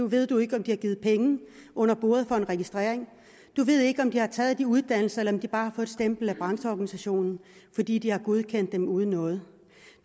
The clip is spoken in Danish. ved du ikke om de har givet penge under bordet for en registrering du ved ikke om de har taget de uddannelser eller om de bare har fået et stempel af brancheorganisationen fordi de har godkendt dem uden noget